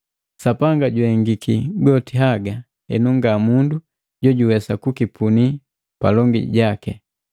Sapanga juhengiki goti haga, henu nga mundu jojuwesa kukipuni palongi jaki.